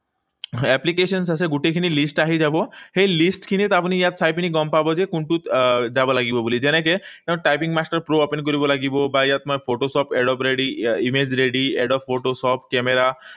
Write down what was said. Applications আছে, গোটেইখিনিৰ list আহি যাব। সেই list খিনিত আপুনি ইয়াত চাই পিনি গম পাব যে কোনটোত আহ যাব লাগিব বুলি। যেনেকৈ typing master pro open কৰিব লাগিব বা ইয়াত মই photoshop adobe ready, image ready, adobe photoshop, camera